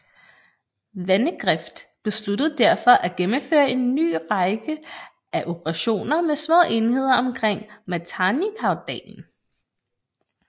Vandegrift besluttede derfor at gennemføre en ny række af operationer med små enheder omkring Matanikaudalen